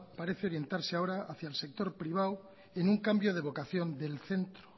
parece orientarse ahora hacia el sector privado en un cambio de vocación del centro